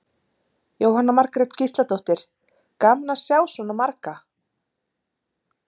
Jóhanna Margrét Gísladóttir: Gaman að sjá svona marga?